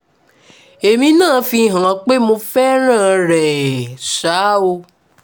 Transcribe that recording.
èmi náà fi hàn án pé mo fẹ́ràn ẹ̀ ṣáá o